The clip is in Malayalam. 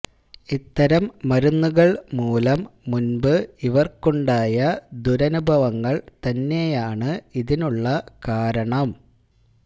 ഇത്തരം മരുന്നുകള് മൂലം മുന്പ് ഇവര്ക്കുണ്ടായ ദുരനുഭവങ്ങള് തന്നെയാണ് ഇതിനുള്ള കാരണം